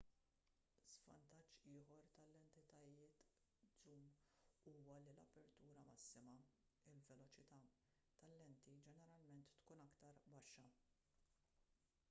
żvantaġġ ieħor tal-lentijiet żum huwa li l-apertura massima il-veloċità tal-lenti ġeneralment tkun aktar baxxa